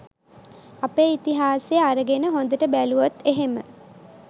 අපේ ඉතිහාසේ අරගෙන හොඳට බැලූවොත් එහෙම